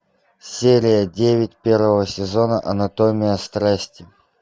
серия девять первого сезона анатомия страсти